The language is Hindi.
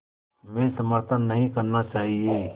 में समर्थन नहीं करना चाहिए